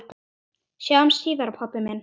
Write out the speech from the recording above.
Sjáumst síðar, pabbi minn.